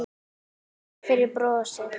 Takk fyrir brosið.